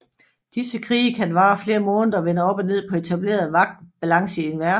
Disse krige kan vare flere måneder og vende op og ned på etablerede magt balance i en verden